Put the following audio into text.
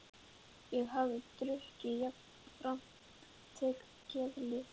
Ég hafði drukkið og jafnframt tekið geðlyf.